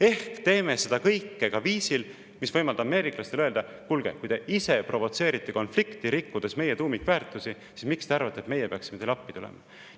Ehk siis me teeme seda kõike viisil, mis võimaldab ameeriklastel öelda: kuulge, kui te ise provotseerite konflikti, rikkudes meie tuumikväärtusi, siis miks te arvate, et me peaksime teile appi tulema?